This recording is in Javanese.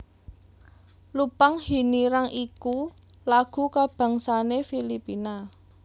Lupang Hinirang iku lagu kabangsané Filipina